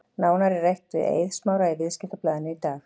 Nánar er rætt við Eið Smára í Viðskiptablaðinu í dag.